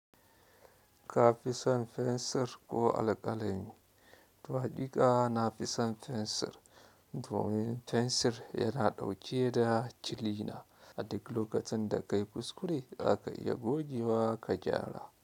Ka fi son fensir ko alƙalami? To, hakika na fi son fensir. Domin fensir yana ɗauke da kilina, a duk lokacin da kayi kuskure za ka iya goge wa ka gyara.